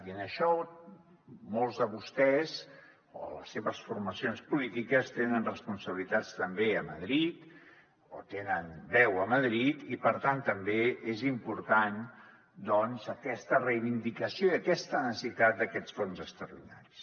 i en això molts de vostès o les seves formacions polítiques tenen responsabilitats també a madrid o tenen veu a madrid i per tant també és important doncs aquesta reivindicació i aquesta necessitat d’aquests fons extraordinaris